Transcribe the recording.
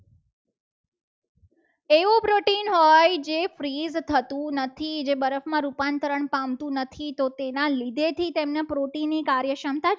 હોય જે freeze થતું નથી. જે બરફમાં રૂપાંતર પામતું નથી તો તેના લીધે થી તેમની protein ની કાર્યક્ષમતા